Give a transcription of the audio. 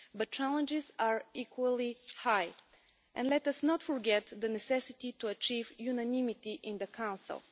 But challenges are equally high, and let us not forget the need to achieve unanimity in the Council.